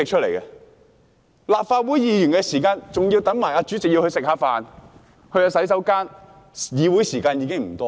立法會會議的時間，還要包括等待主席用膳和上洗手間的時間。